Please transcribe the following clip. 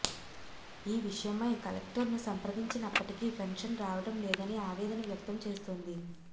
ఈ విషయమై కలెక్టర్ను సంప్రదించినప్పటికీ పెన్షన్ రావడం లేదని ఆవేదన వ్యక్తం చేస్తోంది